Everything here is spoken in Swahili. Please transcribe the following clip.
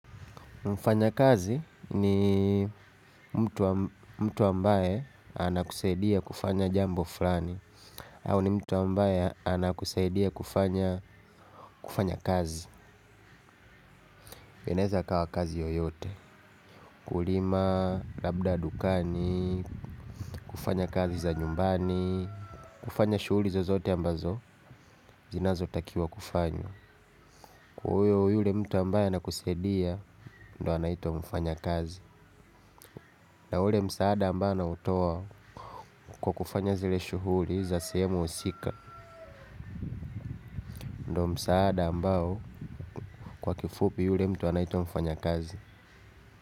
Mfanya kazi ni mtu ambaye anakusaidia kufanya jambo fulani. Au ni mtu ambaye anakusaidia kufanya kazi. Inaweza ikawa kazi yoyote. Kulima, labda dukani, kufanya kazi za nyumbani, kufanya shughuli zozote ambazo, zinazo takiwa kufanywa. Kwaiyo yule mtu ambaye anakusaidia, ndo anaitwa mfanya kazi. Na ule msaada ambao anautoa kwa kufanya zile shughuli za sehemu husika ndo msaada ambao kwa kifupi yule mtu anaitwa mfanya kazi.